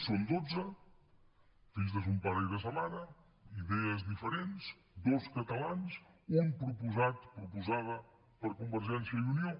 són dotze fills de son pare i de sa mare idees diferents dos catalans un proposat proposada per convergència i unió